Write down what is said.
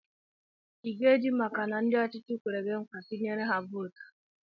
I ga-eji maka na ndị ọchịchị kwere gị nkwa, tụnyere ha vootu?